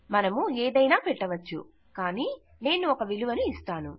మనము ఏదైనా పెట్టవచ్చు కానీ నేను ఒక విలువను ఇస్తాను